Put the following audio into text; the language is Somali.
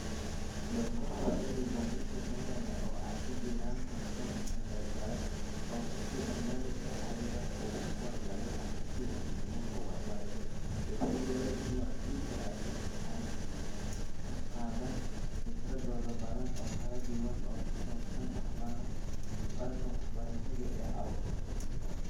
Donkor cilmi baaris tayo leh oo ay ku jiraan konton kaqeybgale oo ku sugan dalka, ayaa u kuur galay aragtida waalidnimo ee waxbarashada, wuxuu ogaaday in waalidiintu ay qabaan fikrado badan oo kala duwan oo ku saabsan waxqabadka waxbarasho ee caruurtooda.